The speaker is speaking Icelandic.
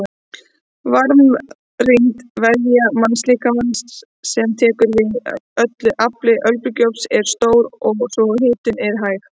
Varmarýmd vefja mannslíkama sem tekur við öllu afli örbylgjuofns er stór svo hitunin er hæg.